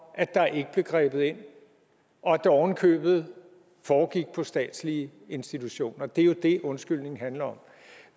at der ikke blev grebet ind og at det oven i købet foregik på statslige institutioner det er jo det undskyldningen handler om